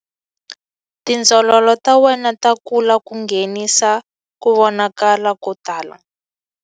Tindzololo ta wena ta kula ku nghenisa ku vonakala ko tala.